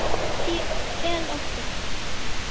sá fetótti